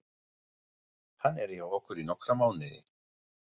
Hann er hjá okkur í nokkra mánuði.